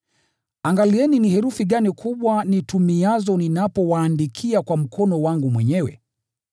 Angalieni herufi kubwa nitumiazo ninapowaandikia kwa mkono wangu mwenyewe!